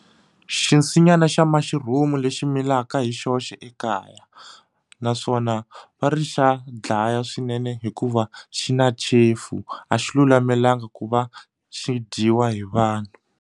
Xinsinyani xa mushroom lexi milaka hi xoxe ekaya naswona va ri xa dlaya swinene hikuva xi na chefu a xi lulamelangi ku va xi dyiwa hi vanhu.